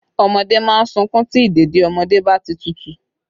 Ọmọdé má ń sunkún tí ìdèdí ọmọdé bá ti tútù